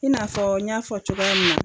I n'a fɔ n y'a fɔ cogoya min na.